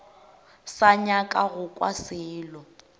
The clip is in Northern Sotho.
sa nyaka go kwa selo